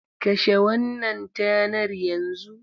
Kashe wannan tanar yanzu!